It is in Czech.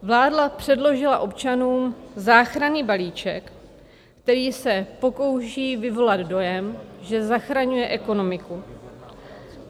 Vláda předložila občanům záchranný balíček, který se pokouší vyvolat dojem, že zachraňuje ekonomiku.